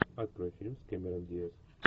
открой фильм с камерон диаз